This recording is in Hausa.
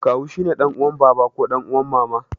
Kawu shine ɗan uwan baba ko ɗan uwan mama.